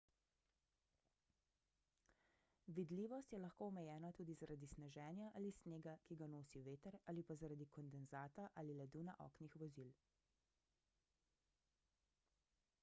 vidljivost je lahko omejena tudi zaradi sneženja ali snega ki ga nosi veter ali pa zaradi kondenzata ali ledu na oknih vozil